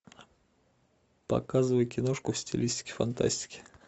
показывай киношку в стилистике фантастики